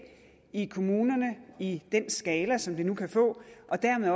i kommunerne i den skala som det nu kan få og dermed